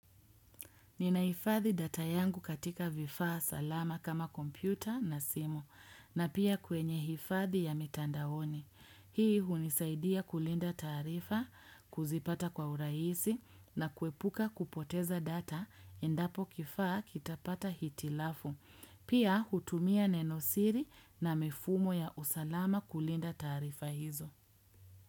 Ninaifadhi data yangu katika vifaa salama kama kompyuta na simu, na pia kwenye hifadhi ya mitandaoni. Hii hunisaidia kulinda taarifa, kuzipata kwa uraisi, na kuepuka kupoteza data, endapo kifaa kitapata hitilafu. Pia hutumia nenosiri na mifumo ya usalama kulinda taarifa hizo.